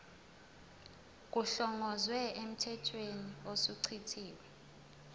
kuhlongozwe emthethweni osuchithiwe